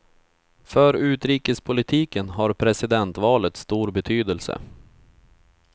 För utrikespolitiken har presidentvalet stor betydelse.